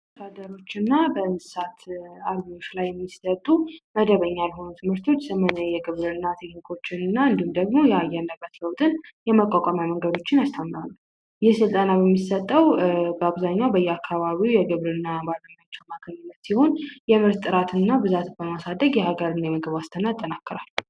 አርብቶ አደሮችና በእንስሳት ዙሪያ የሚሰጡ መደበኛ የሆኑ ትምህርቶች እንዲሁም ደግሞ የአየር ንብረትን የመቋቋም መንገዶችን ያስተምራል ይህ የስልጠና የሚሰጠው በአብዛኛው በአካባቢ በሚገኙ የግብርና አገልግሎት መስጫ ሲሆን የግብርና ምርቶችን በማሳደግ የሀገር የምግብ ዋስትና ያጠናክራል።